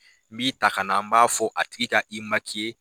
N b'i ta ka na an b'a fɔ a tigi ka i .